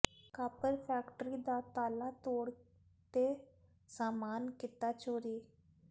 copper factory ਦਾ ਤਾਲਾ ਤੋੜ ਤੇ ਸਾਮਾਨ ਕੀਤਾ ਚੋਰੀ